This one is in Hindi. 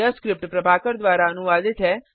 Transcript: यह स्क्रिप्ट प्रभाकर द्वारा अनुवादित है